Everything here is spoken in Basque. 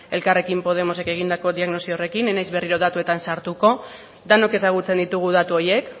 elkarrekin podemosek egindako diagnosi horrekin ez naiz berriro datuetan sartuko denok ezagutzen ditugu datu horiek